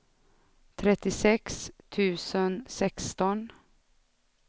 trettiosex tusen sexton